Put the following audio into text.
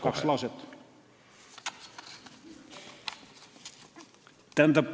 Kaks lauset.